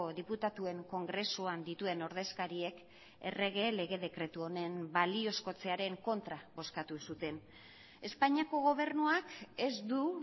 diputatuen kongresuan dituen ordezkariek errege lege dekretu honen baliozkotzearen kontra bozkatu zuten espainiako gobernuak ez du